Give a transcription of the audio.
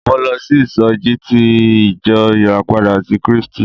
Mo lọ sí ìsọjí ti ìjọ ìràpadà ti Krístì.